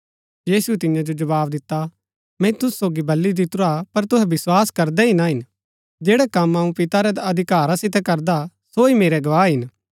यीशुऐ तियां जो जवाव दिता मैंई तुसु सोगी बली दितुरा पर तुहै विस्वास करदै ही ना हिन जैड़ै कम अऊँ पिता रै अधिकारा सितै करदा सो ही मेरै गवाह हिन